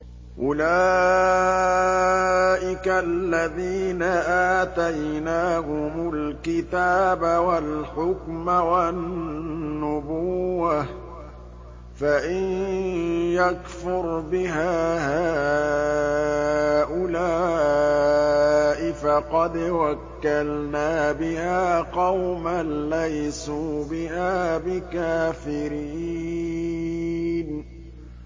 أُولَٰئِكَ الَّذِينَ آتَيْنَاهُمُ الْكِتَابَ وَالْحُكْمَ وَالنُّبُوَّةَ ۚ فَإِن يَكْفُرْ بِهَا هَٰؤُلَاءِ فَقَدْ وَكَّلْنَا بِهَا قَوْمًا لَّيْسُوا بِهَا بِكَافِرِينَ